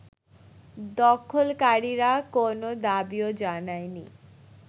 দখলকারীরা কোনো দাবিও জানায়নি